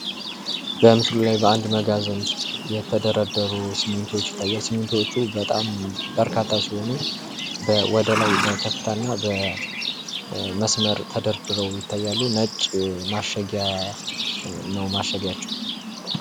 በምስሉ ላይ በአንድ መጋዘን ውስጥ የተደረደሩ ሲሚንቶዎች ይታያል። ሲሚንቶዎቹ በጣም በርካታ ሲሆኑ፤ ወደ ላይ በከፍታ እና በመስመር ተደርድረው ይታያሉ። ነጭ ማሸጊያ ነው ማሸጊያ ናቸው።